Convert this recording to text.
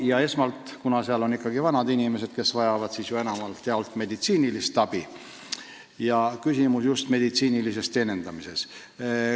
Ja kuna hooldekodudes on ikkagi vanad inimesed, kes vajavad enamjaolt meditsiinist abi, on küsimus just meditsiinilises teenindamises.